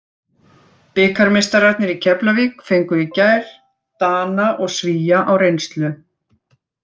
Bikarmeistararnir í Keflavík fengu í gær Dana og Svía á reynslu.